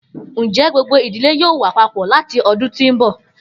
Njẹ gbogbo idile yoo wa papọ lati ọdun ti n bọ?